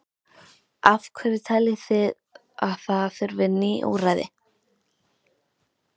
Af hverju teljið þið að það þurfi ný úrræði?